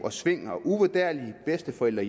centrale